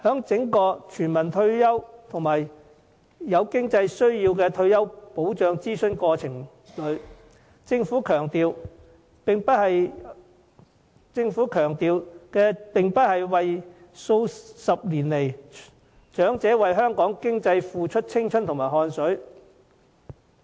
就全民退休保障及有經濟需要的退休保障進行諮詢的整個過程中，政府並沒有強調長者過去數十年為香港經濟付出的青春和汗水。